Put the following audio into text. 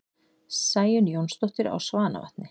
Sæunn Jónsdóttir á Svanavatni